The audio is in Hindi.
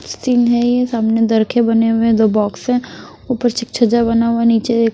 सिन है ये सामने दरखे बने हुए है दो बॉक्स है ऊपर छज्जा बना हुआ है नीचे --